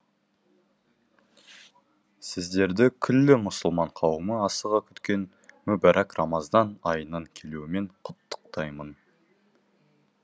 сіздерді күллі мұсылман қауымы асыға күткен мүбәрак рамазан айының келуімен құттықтаймын